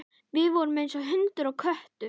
Við vorum eins og hundur og köttur.